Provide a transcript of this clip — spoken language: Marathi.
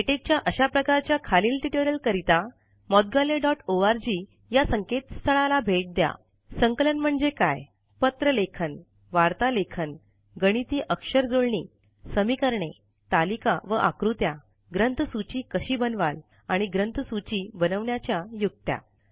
लेटेक च्या अशा प्रकाराच्या खालील ट्युटोरियलकरिता moudgalyaओआरजी या संकेतस्थळाला भेट द्या ः संकलन म्हणजे काय पत्रलेखन वार्तालेखन गणिती अक्षरजुळणी समीकरणे तालिका व आकृत्या ग्रंथसूची कशी बनवाल आणि ग्रंथसूची बनवण्याच्या युक्त्या